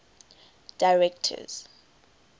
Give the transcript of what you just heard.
directors